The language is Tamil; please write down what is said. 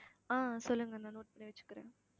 ஆஹ் சொல்லுங்க நான் note பண்ணி வச்சுக்கறேன்